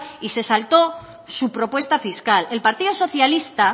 y se saltó su propuesta fiscal el partido socialista